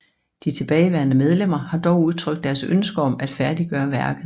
De tilbageværende medlemmer har dog udtrykt deres ønske om at færdiggøre værket